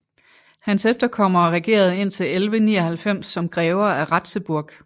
Hans efterkommere regerede indtil 1199 som grever af Ratzeburg